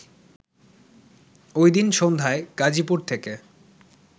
ওইদিন সন্ধ্যায় গাজীপুর থেকে